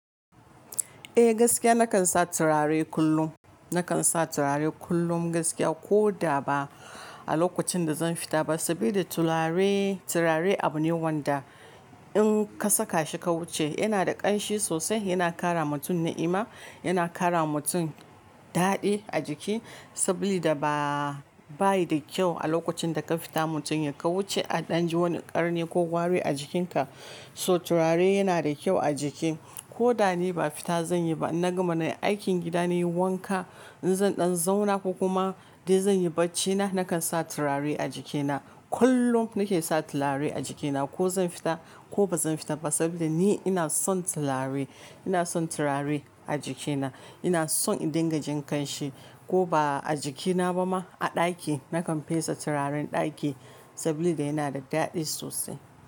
Eh gaskiya nakan sa turare kullum. Nakan sa turare kullum gaskiya ko da ba a lokacin da zan fita ba, saboda turare, turare abu ne wanda in ka saka shi ka wuce yana da ƙanshi sosai, yana kara mutum na'ima, yana kara mutum daɗi a jiki saboda ba, ba yi da kyau a lokacin da ka fita mutum ya ka wuce a ɗan ji wani ƙarni ko wari a jikinka. So turare yana da kyau a jiki ko da ni ba fita zan yi ba na gama nayi aikin gida nayi wanka, in zan ɗan zauna ko kuma dai zan yi baccina nakan sa turare a jikina. Kullum nake sa turare a jikina ko zan fita ko ba zan fita ba saboda ni ina son turare. Ina son turare a jikina. Ina son in dinga jin ƙanshi ko ba a jikina ba ma a ɗaki nakan fesa turaren ɗaki saboda yana da daɗi sosai.